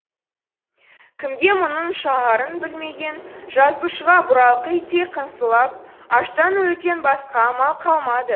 кімге мұңың шағарын білмеген жазушыға бұралқы иттей қыңсылап аштан өлуден басқа амал қалмады